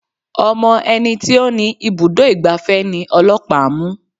Ọmọ ẹni tí ó ni ibùdó ìgbafẹ́ ni ọlọ́pàá mú.